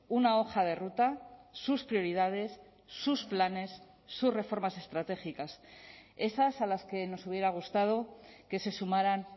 una hoja de ruta sus prioridades sus planes sus reformas estratégicas esas a las que nos hubiera gustado que se sumaran